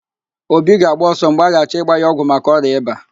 Obi ga-agba ọsọ mgbe a ga-achọ ịgba ya ọgwụ maka ọrịa ịba